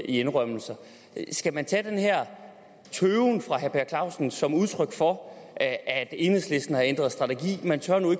indrømmelser skal man tage den herre per clausen som udtryk for at at enhedslisten har ændret strategi man tør nu